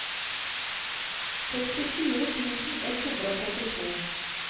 sekstifire tusen ett hundre og syttito